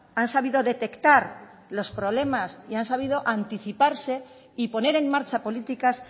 han sabido detectar los problemas y han sabido anticiparse y poner en marcha políticas